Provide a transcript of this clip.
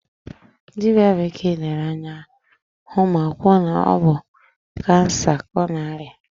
Dibịa bekee lere ya ahụ ma kwuo na ọ bụ kansa ka ọ na-arịa.